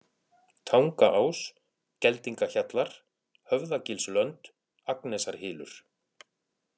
Tangaás, Geldingahjallar, Höfðagilslönd, Agnesarhylur